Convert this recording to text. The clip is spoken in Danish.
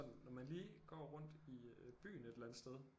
Når man lige går rundt i byen et eller andet sted